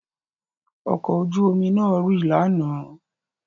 Ọkọ̀ ojú omi náà rì lánàá.